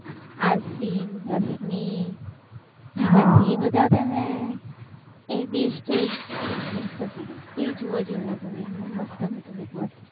આશી, અશ્મિ એ બધા હતા ને તઈ best હતું, તે જોવા જેવું હતું, મસ્ત હતું